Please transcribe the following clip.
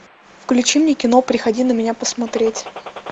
включи мне кино приходи на меня посмотреть